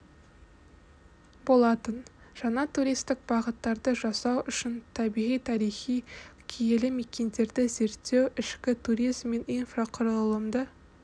болатын жаңа туристік бағыттарды жасау үшін табиғи тарихи киелі мекендерді зерттеу ішкі туризм мен инфрақұрылымды